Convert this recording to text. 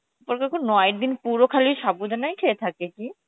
ওরা কি এখন নয় দিন কি পুরো খালি সাবু ডানাই খেয়ে থাকে কি